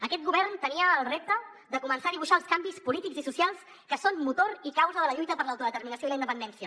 aquest govern tenia el repte de començar a dibuixar els canvis polítics i socials que són motor i causa de la lluita per l’autodeterminació i la independència